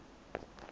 uri zwo tea uri hu